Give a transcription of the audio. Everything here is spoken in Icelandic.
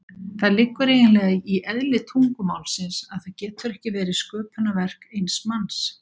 Það liggur eiginlega í eðli tungumálsins að það getur ekki verið sköpunarverk eins manns.